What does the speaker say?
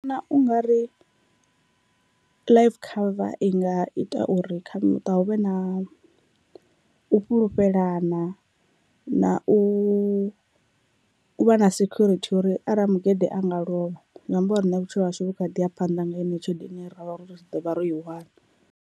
Ndi vhona ungari life cover i nga ita uri kha muṱa hu vhe na u fhulufhelana na u vha na security uri arali mugede a nga lovha zwi amba uri riṋe vhutshilo hashu vhu kha ḓi ya phanḓa nga yeneyo tshelede ine ravha uri ri ḓovha ro i wana.